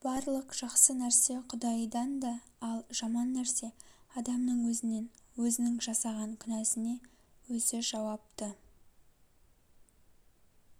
барлық жақсы нәрсе құдайдан да ал жаман нәрсе адамның өзінен өзінің жасаған күнәсіне өзі жауапты